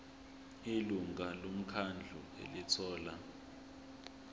ilungu lomkhandlu elithola